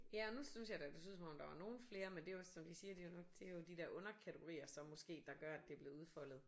Ja og nu synes jeg da det så ud som om der var nogle flere men det er jo også som de siger de har nok det er jo de der underkategorier som måske der gør at det er blevet udfoldet